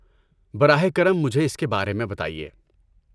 براہ کرم مجھے اس کے بارے میں بتائیے۔